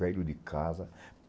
Velho de casa.